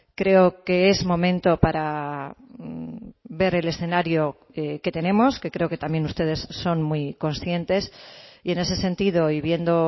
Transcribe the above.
creo que es momento para ver el escenario que tenemos que creo que también ustedes son muy conscientes y en ese sentido y viendo